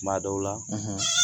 Tuma dɔw la